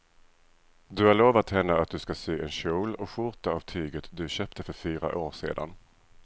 Du har lovat henne att du ska sy en kjol och skjorta av tyget du köpte för fyra år sedan.